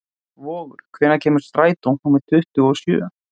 Vogur, hvenær kemur strætó númer tuttugu og sjö?